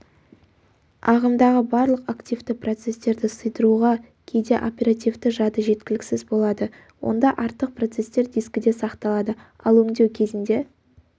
ағымдағы барлық активті процестерді сыйдыруға кейде оперативті жады жеткіліксіз болады онда артық процестер дискіде сақталады ал өңдеу кезінде